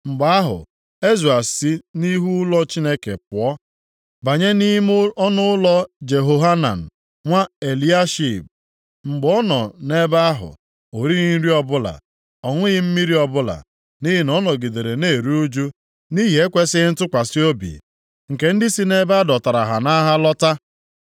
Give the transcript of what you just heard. Mgbe ahụ, Ezra si nʼihu ụlọ Chineke pụọ banye nʼime ọnụụlọ Jehohanan, nwa Eliashib. Mgbe ọ nọ nʼebe ahụ, o righị nri ọbụla, ọ ṅụghị mmiri ọbụla, nʼihi na ọ nọgidere na-eru ụjụ nʼihi ekwesighị ntụkwasị obi nke ndị si nʼebe a dọtara ha nʼagha lọta.